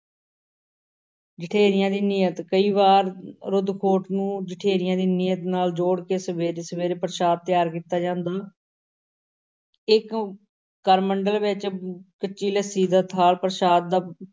ਜਠੇਰਿਆਂ ਦੀ ਨੀਅਤ, ਕਈ ਵਾਰੀ ਰੁੱਧ-ਖੋਟ ਨੂੰ ਜਠੇਰਿਆਂ ਦੀ ਨੀਅਤ ਨਾਲ ਜੋੜ ਕੇ ਸਵੇਰੇ-ਸਵੇਰੇ ਪ੍ਰਸ਼ਾਦ ਤਿਆਰ ਕੀਤਾ ਜਾਂਦਾ ਇੱਕ ਕਰਮੰਡਲ ਵਿੱਚ ਕੱਚੀ ਲੱਸੀ ਦਾ ਥਾਲ ਪ੍ਰਸ਼ਾਦ ਦਾ